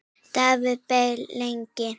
Davíð beið lengi.